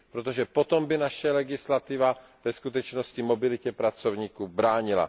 Protože potom by naše legislativa ve skutečnosti mobilitě pracovníků bránila.